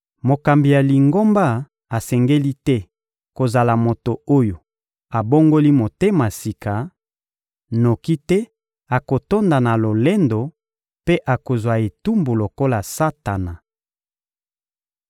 Mokambi ya Lingomba asengeli te kozala moto oyo abongoli motema sika, noki te akotonda na lolendo mpe akozwa etumbu lokola Satana.